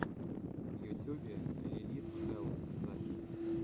в ютюбе лилит хэлл запись